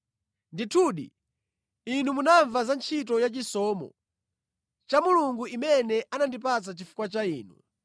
Ndithudi, inu munamva za ntchito yachisomo cha Mulungu imene anandipatsa chifukwa cha inu,